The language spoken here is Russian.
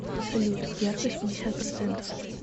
салют яркость пятьдесят процентов